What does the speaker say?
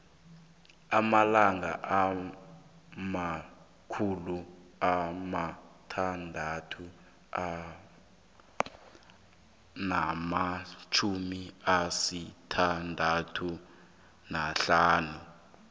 amalanga amakhulu amathathu namatjhumi asithandathu nahlanu